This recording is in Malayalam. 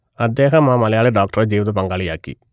അദ്ദേഹം ആ മലയാളി ഡോക്ടറെ ജീവിതപങ്കാളിയാക്കി